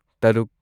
ꯇꯔꯨꯛ